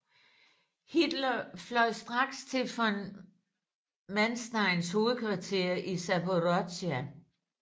Hitler fløj straks til von Mansteins hovedkvarter i Zaporozhia